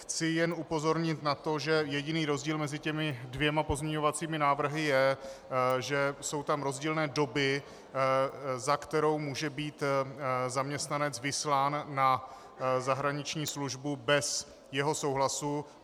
Chci jen upozornit na to, že jediný rozdíl mezi těmi dvěma pozměňovacími návrhy je, že jsou tam rozdílné doby, za které může být zaměstnanec vyslán na zahraniční službu bez jeho souhlasu.